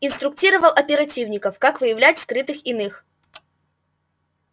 инструктировал оперативников как выявлять скрытых иных